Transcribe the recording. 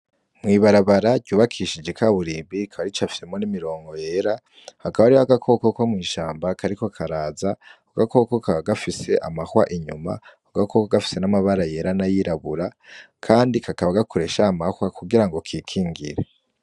Mwibarabara ryubakishije ikaburimbi ka bari ico afyemo n'imirongo yera hakaba ari ho gakokoko mw'ishamba kariko karaza ugakoko ka gafise amahwa inyuma ugakoko gafise n'amabara yera na yirabura, kandi kakaba gakuresha amahwa kugira ngo kikingira.